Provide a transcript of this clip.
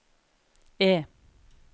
E